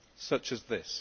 such as this.